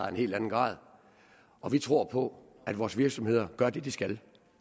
af en helt anden grad og vi tror på at vores virksomheder gør det de skal